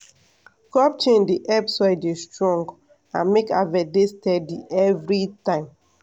crop change dey help soil dey strong and make harvest dey steady every time.